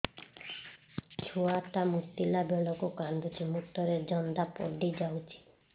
ଛୁଆ ଟା ମୁତିଲା ବେଳକୁ କାନ୍ଦୁଚି ମୁତ ରେ ଜନ୍ଦା ପଡ଼ି ଯାଉଛି